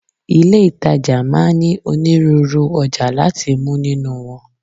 Ilé ìtajà máa ń ní onírúurú ọjà láti mú nínú wọn.